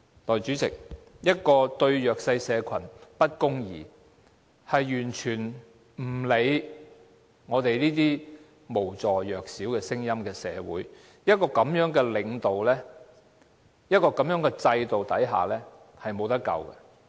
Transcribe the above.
代理主席，一個對弱勢社群不公義，完全不理會無助弱小聲音的社會，在這樣的領導和制度下是無可救藥的。